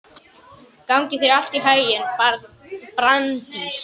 Gangi þér allt í haginn, Branddís.